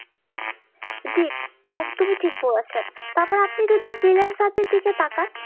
জি একদম ই ঠিক বলেছেন, তারপর আপনি যদি freelancer দের দিকে তাকান